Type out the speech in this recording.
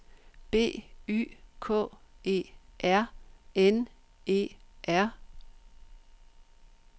B Y K E R N E R